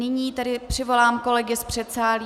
Nyní tedy přivolám kolegy z předsálí.